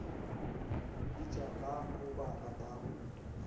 bitša ba o ba ratago